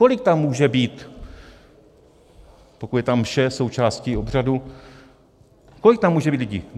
Kolik tam může být, pokud je ta mše součástí obřadu, kolik tam může být lidí?